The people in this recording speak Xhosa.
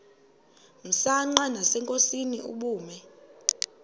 msanqa nasenkosini ubume